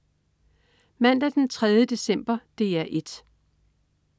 Mandag den 3. december - DR 1: